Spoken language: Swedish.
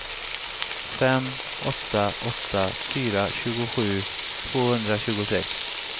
fem åtta åtta fyra tjugosju tvåhundratjugosex